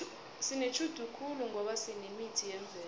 sinetjhudu khulu ngoba sinemithi yemvelo